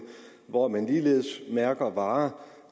hvor man ligeledes mærker varer